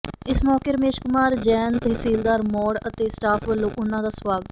ਇਸ ਮੌਕੇ ਰਮੇਸ਼ ਕੁਮਾਰ ਜੈਨ ਤਹਿਸੀਲਦਾਰ ਮੌੜ ਅਤੇ ਸਟਾਫ ਵੱਲੋਂ ਉਨ੍ਹਾਂ ਦਾ ਸਵਾਗ